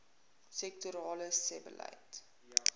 sektorale sebbeleid